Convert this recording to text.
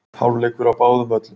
Hálfleikur á báðum völlum